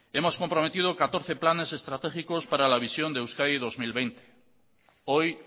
hemos comprometido catorce planes estratégicos para la visión de euskadimenos dos mil veinte hoy